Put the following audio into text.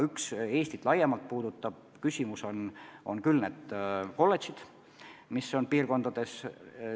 Üks Eestit laiemalt puudutav küsimus on tõesti need kolledžid, mis asuvad nimetatud linnades.